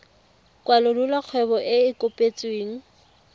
kwalolola kgwebo e e kopetsweng